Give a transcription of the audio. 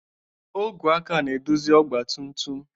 Ogwe aka ga-eduzi ọgba tum tum.